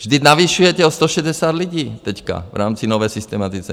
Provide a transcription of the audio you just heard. Vždyť navyšujete o 160 lidí teď v rámci nové systematizace.